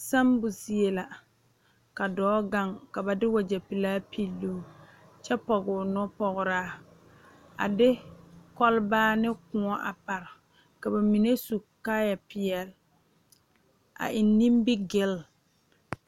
Sammo zie la ka dɔɔ gaŋ ka ba de wagyɛ pelaa piluu kyɛ pɔgroo nupɔgraa a de kɔlbaa ne kóɔ a pare ka ba mine su kaayɛ peɛle a eŋ nimigele